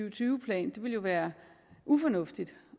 og tyve plan det ville jo være ufornuftigt og